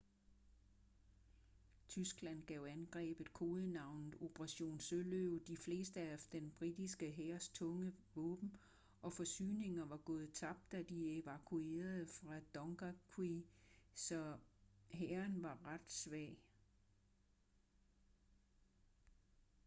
tyskland gav angrebet kodenavnet operation søløve de fleste af den britiske hærs tunge våben og forsyninger var gået tabt da de evakuerede fra dunkerque så hæren var ret svag